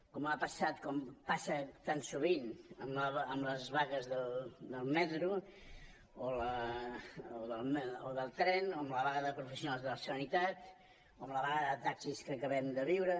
com ha passat com passa tan sovint amb les vagues del metro o del tren o amb la vaga de professionals de la sanitat o amb la vaga de taxis que acabem de viure